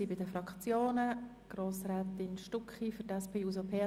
Es wird somit gewünscht, ziffernweise abzustimmen.